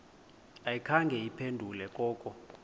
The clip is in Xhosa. ayikhange iphendule koko